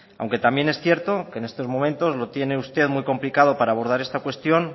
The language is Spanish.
aunque también es cierto que en estos momentos lo tiene usted muy complicado para abordar esta cuestión